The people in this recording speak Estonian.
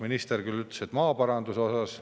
Minister ütles, et maaparanduse osas.